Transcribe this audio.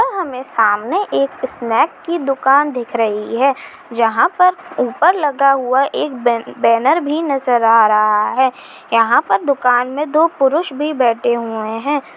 यहाँ हमे सामने एक स्नैक की दुकान दिख रही है जहां पर ऊपर लगा हुआ एक बेन-बैनर भी नजर आ रहा है यहाँ पर दुकान मे दो पुरुष भी बैठे हुए है।